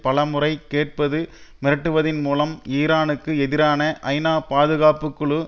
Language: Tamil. பல முறை கேட்பது மிரட்டுவதின் மூலம் ஈரானுக்கு எதிரான ஐநாபாதுகாப்புக்குழு